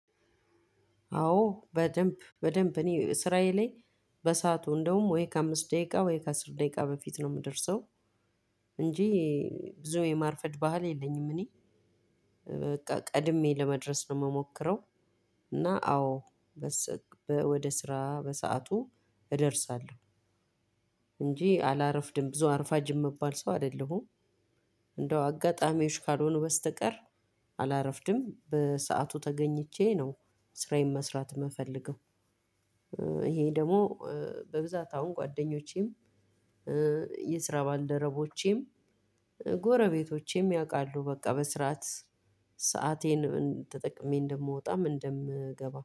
አዎ በደንብ በደንብ እኔ ስራየ ላይ በሰአቱ እንደውም ወይ ከአምስት ደቂቃ ወይ ከአስር ደቂቃ በፊት ነው የምደርሰው። እንጂ ብዙ የማርፈድ ባህል የለኝም። እኔ በቃ ቀድሜ ለመድረስ ነው የምሞክረው። እና አዎ ወደ ስራ በሰአቱ እደርሳለሁ እንጂ አላረፍድም ብዙ አርፋጅ የሚባል ሰው አይደለሁም። እንደው አጋጣሚዎች ካልሆኑ በስተቀር አላረፍድም በሰአቱ ተገኝቼ ነው ስራዬን መስራት የምፈልገው። ይሄ ደግሞ በብዛት አሁን ጓደኞቼም የስራ ባልደረቦቼም ጎረቤቶቼም ያውቃሉ በቃ በስራአት ሳአቴን ተጠቅሜ እንደምወጣም እንደምገባም